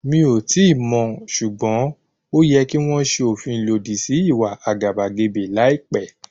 Mí ò tíì mọ̀, ṣùgbọ́n ó yẹ kí wọ́n ṣe òfin lòdì sí ìwà àgàbàgebè láìpẹ́.